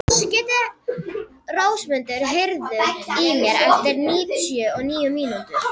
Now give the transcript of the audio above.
Rósmundur, heyrðu í mér eftir níutíu og níu mínútur.